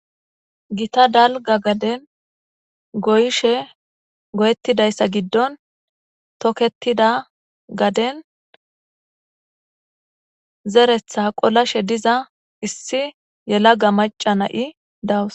Githa dalga gaden goyishe goyetizayisa gidon toketida gaden goyish goyetida gidon toketida gaden zeretha qolashe diza issi yelaga maca,a nayiya dawus